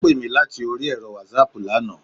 Ó pè mí láti orí ẹ̀rọ Wásaàpù lana